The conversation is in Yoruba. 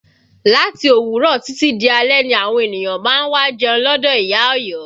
Láti òwúrọ̀ títí di alẹ́ ni àwọn ènìyàn má ń wá jẹun lọdọ ìyá Ọ̀yọ́